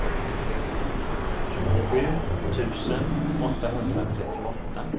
tjugosju tusen åttahundratrettioåtta